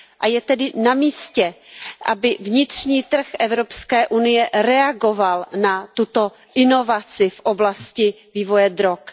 Je tedy na místě, aby vnitřní trh Evropské unie reagoval na tuto inovaci v oblasti vývoje drog.